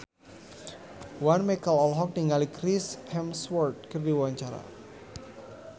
Once Mekel olohok ningali Chris Hemsworth keur diwawancara